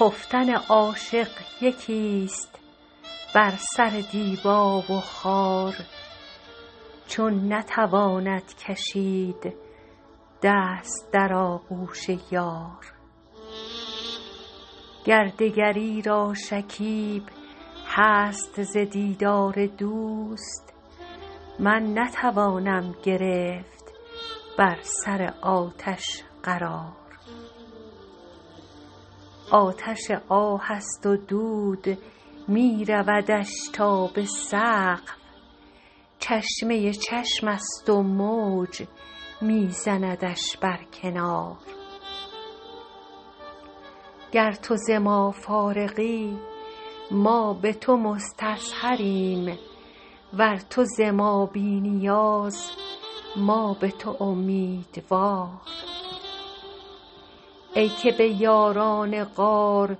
خفتن عاشق یکیست بر سر دیبا و خار چون نتواند کشید دست در آغوش یار گر دگری را شکیب هست ز دیدار دوست من نتوانم گرفت بر سر آتش قرار آتش آه است و دود می رودش تا به سقف چشمه چشمست و موج می زندش بر کنار گر تو ز ما فارغی ما به تو مستظهریم ور تو ز ما بی نیاز ما به تو امیدوار ای که به یاران غار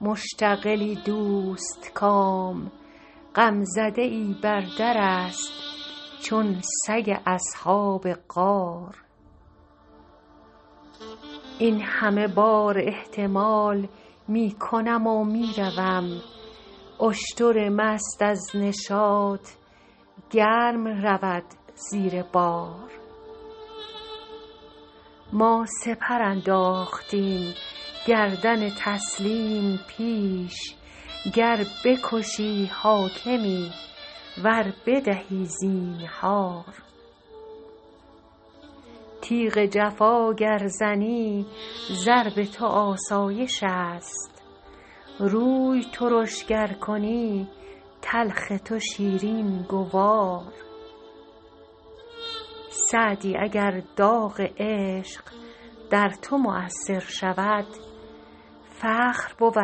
مشتغلی دوستکام غمزده ای بر درست چون سگ اصحاب غار این همه بار احتمال می کنم و می روم اشتر مست از نشاط گرم رود زیر بار ما سپر انداختیم گردن تسلیم پیش گر بکشی حاکمی ور بدهی زینهار تیغ جفا گر زنی ضرب تو آسایشست روی ترش گر کنی تلخ تو شیرین گوار سعدی اگر داغ عشق در تو مؤثر شود فخر بود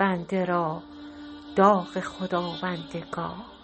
بنده را داغ خداوندگار